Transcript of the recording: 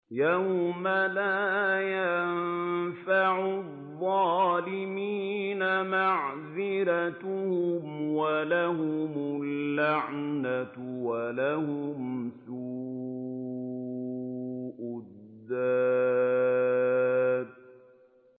يَوْمَ لَا يَنفَعُ الظَّالِمِينَ مَعْذِرَتُهُمْ ۖ وَلَهُمُ اللَّعْنَةُ وَلَهُمْ سُوءُ الدَّارِ